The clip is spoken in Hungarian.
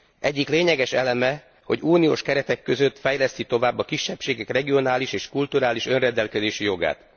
Egyik lényeges eleme, hogy uniós keretek között fejleszti tovább a kisebbségek regionális és kulturális önrendelkezési jogát.